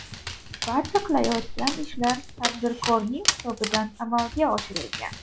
Barcha qilinayotgan ishlar tadbirkorning hisobidan amalga oshirilgan.